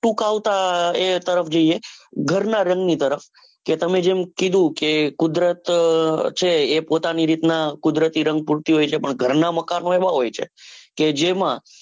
હું કૌ તો એ તરફ જઈએ ઘરના રંગ ની તરફ તમે જેમ કીધું કે કુદરત જે છે એ પોતાની રીતે કુદરતી રંગ પૂરતી હોય છે. પણ ઘરના મકાન માંહોય છે. કે જેમાં